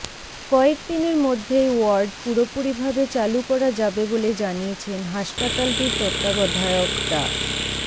কয়েক দিনের মধ্যেই ওয়ার্ড পুরোপুরিভাবে চালু করা যাবে বলে জানিয়েছেন হাসপাতালটির তত্ত্বাবধায়ক ডা